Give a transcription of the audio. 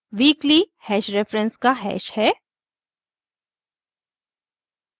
weekly hash reference का hash है